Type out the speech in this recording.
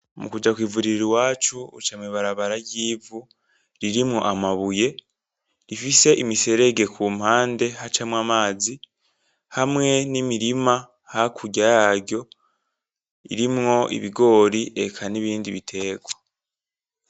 Mukuja kw'ivuriro iwacu uca mw'ibarabara ry'ivu ririmwo amabuye rifise imiserege ku mpande hacamwo amazi hamwe n'imirima hakurya yaryo irimwo ibigori, eka n'ibindi biterwa.